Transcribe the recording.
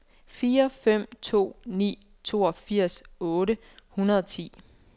fire fem to ni toogfirs otte hundrede og ti